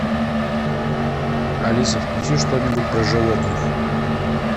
алиса включи что нибудь про животных